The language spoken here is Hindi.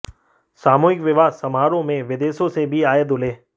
सामूहिक विवाह समारोह में विदेशों से भी आए दूल्हे